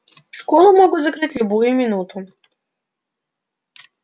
школу могут закрыть в любую минуту